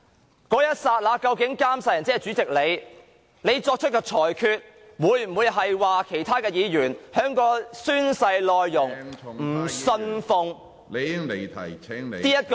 在那一刻，監誓人即主席你所作出的裁決，會否令其他議員因不信奉其宣誓當中......